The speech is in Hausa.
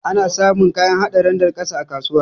Ana samun kayan hada randar ƙasa a kasuwa.